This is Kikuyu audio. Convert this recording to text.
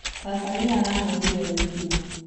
Baba nĩ arahũrire owino